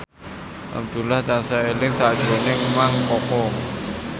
Abdullah tansah eling sakjroning Mang Koko